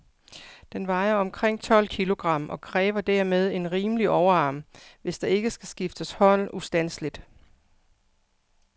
Den vejer omkring tolv kilogram, og kræver dermed en rimelig overarm, hvis der ikke skal skifte hånd ustandseligt.